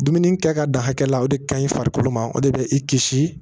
Dumuni kɛ ka dan hakɛ la o de ka ɲi farikolo ma o de be i kisi